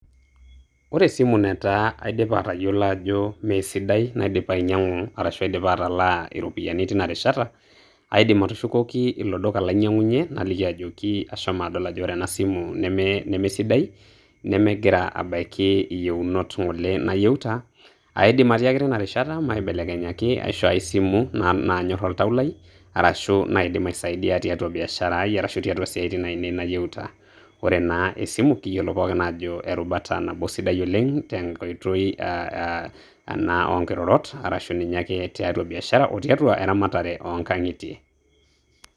ore esimu netaa aidiapa atayiolo ajo meisidai, naidipa ainyiang'u ashu naidipa atalaa iropiyiani teina rishata, kaidim atushukoki ilo duka lainying'unye naliki ajoki ashomo adol ajo ore ena simu nemesidai nemegira abaiki iyieunot ng'ole nayieuta, aidim atiaki teinarishata maibelekenyaki aishoo enkae simu naanyor oltau lai arashu naidim aisaidia tiatua biashara ai, arasu tiatua isaitin ainei nayieuta. ore naa esimu kiyiolo pookin aajo erubata nabo sidai oleng te nkoitoi ena oo nkirorot arashu ninye ake tiatua biashara o tiatua eramatare oo nkang'itie.